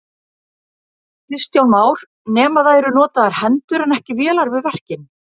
Kristján Már: Nema það eru notaðar hendur en ekki vélar við verkin?